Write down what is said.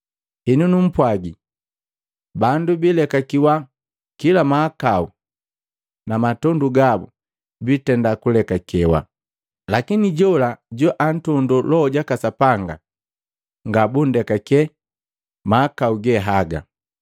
Henu numpwagi, bandu bilekakiwa kila mahakau namatondu gabu bitenda kulekakewa, lakini jola joantondo Loho jaka Sapanga ngabundekake mahakau ge haga.